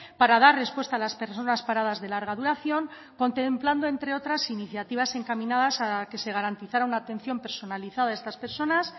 para dar respuesta a las personas paradas de larga duración contemplando entre otras iniciativas encaminadas a que se garantizara una atención personalizada a estas personas